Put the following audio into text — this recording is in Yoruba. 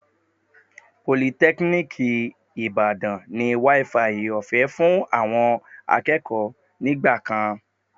Politẹ́kíníìkì Ìbàdàn ní wááfaì ọ̀fẹ́ fún àwọn akẹ́kọ̀ọ́ nígbà kan